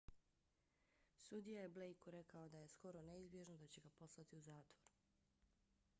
sudija je blejku rekao da je skoro neizbježno da će ga poslati u zatvor